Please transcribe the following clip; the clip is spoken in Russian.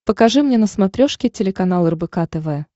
покажи мне на смотрешке телеканал рбк тв